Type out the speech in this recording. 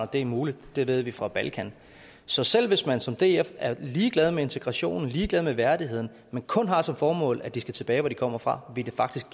det er muligt det ved vi fra balkan så selv hvis man som df er ligeglad med integrationen ligeglad med værdigheden men kun har som formål at de skal tilbage til der hvor de kommer fra ville det faktisk